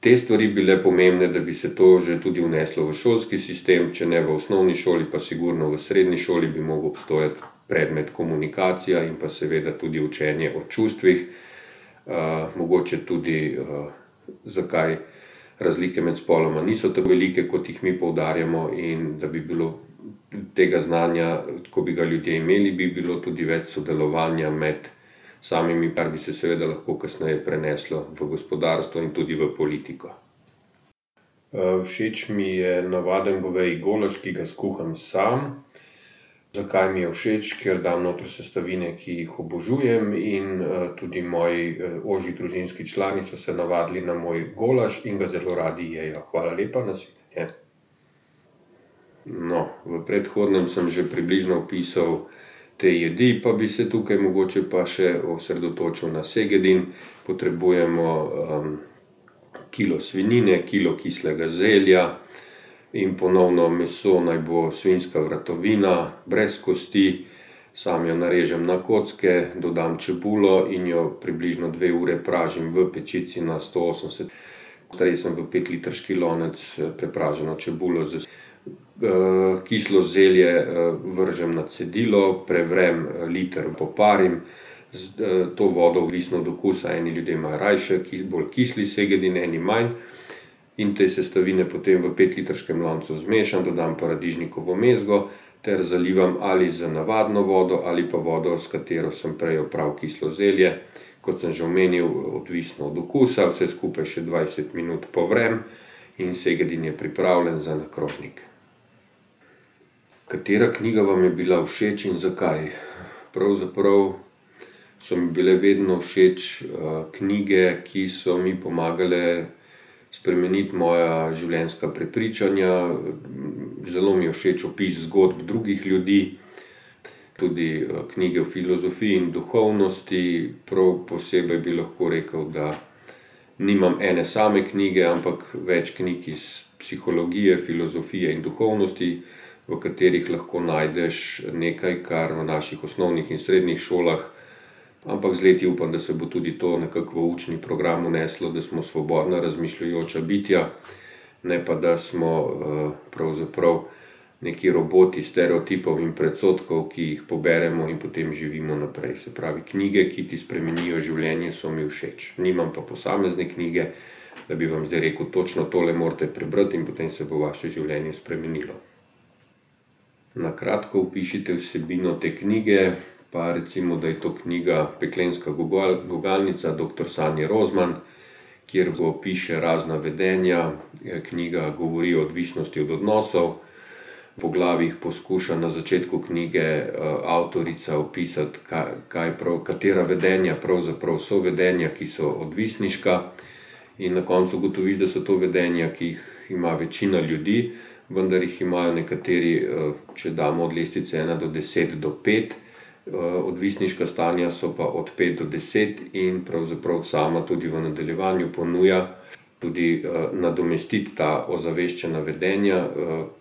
te stvari bile pomembne, da bi se to že tudi vneslo v šolski sistem, če ne v osnovni šoli pa sigurno v srednji šoli bi mogel obstajati predmet Komunikacija in pa seveda tudi učenje o čustvih. mogoče tudi, zakaj razlike med spoloma niso tako velike, kot jih mi poudarjamo, in da bi bilo tega znanja, ko bi ga ljudje imeli, bi bilo tudi več sodelovanja med samimi, kar bi se seveda lahko kasneje preneslo v gospodarstvo in tudi v politiko. všeč mi je navaden goveji golaž, ki ga skuham sam. Zakaj mi je všeč? Ker dam notri sestavine, ki jih obožujem, in, tudi moji ožji družinski člani so se navadili na moj golaž in ga zelo radi jejo, hvala lepa, nasvidenje. No, v predhodnem sem že približno opisal te jedi, pa bi se tukaj mogoče pa še osredotočil na segedin. Potrebujemo, kilo svinjine, kilo kislega zelja in ponovno meso naj bo svinjska vratovina, brez kosti. Samo jo narežem na kocke, dodam čebulo in jo približno dve uri pražim v pečici na sto osemdeset. sem v petlitrski lonec prepraženo čebulo ... kislo zelje, vržem na cedilo, prevrem, liter in poparim. S, to vodo, odvisno od okusa, eni ljudje imajo rajši bolj kisel segedin, eni manj. In te sestavine potem v petlitrskem loncu zmešam, dodam paradižnikovo mezgo ter zalivam ali z navadno vodo ali pa vodo, s katero sem prej opral kislo zelje. Kot sem že omenil, odvisno od okusa, vse skupaj še dvajset minut povrem in segedin je pripravljen za na krožnik. Katera knjiga vam je bila všeč in zakaj? Pravzaprav so mi bile vedno všeč, knjige, ki so mi pomagale spremeniti moja življenjska prepričanja, zelo mi je všeč opis zgodb drugih ljudi. Tudi, knjige o filozofiji in duhovnosti, prav posebej bi lahko rekel, da nimam ene same knjige, ampak več knjig iz psihologije, filozofije in duhovnosti, v katerih lahko najdeš nekaj, kar v naših osnovnih in srednjih šolah. Ampak z leti upam, da se bo tudi to nekako v učni program vneslo, da smo svobodna razmišljujoča bitja, ne pa, da smo, pravzaprav neki roboti stereotipov in predsodkov, ki jih poberemo in potem živimo naprej. Se pravi, knjige, ki ti spremenijo življenje, so mi všeč. Nimam pa posamezne knjige, da bi vam zdaj rekel: "Točno tole morate prebrati in potem se bo vaše življenje spremenilo." Na kratko opišite vsebino te knjige pa recimo, da je to knjiga Peklenska gugalnica doktor Sanje Rozman, kjer opiše razna vedenja, knjiga govori o odvisnosti od odnosov. V poglavjih poskuša na začetku knjige, avtorica opisati kaj prav, katera vedenja pravzaprav so vedenja, ki so odvisniška. In na koncu ugotoviš, da so to vedenja, ki jih ima večina ljudi. Vendar jih imajo nekateri, če damo od lestvice ena do deset do pet. odvisniška stanja so pa od pet do deset in pravzaprav sama tudi v nadaljevanju ponuja tudi, nadomestiti ta ozaveščena vedenja,